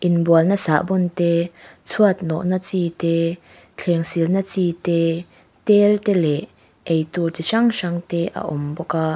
inbualna sahbawn te chhuat nawhna chi te thleng silna chi te tel te leh eitur chi hrang hrang te a awm bawk a.